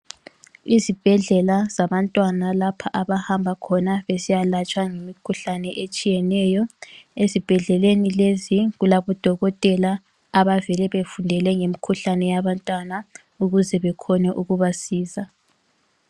Izibhedlela zabantwana lapha abahamba khona besiyalatshwa imikhuhlane etshiyeneyo, ezibhedleleni lezi kulabo dokotela abavele befundele ngemikhuhlane yabantwana ukuze bekhone ukubasiza.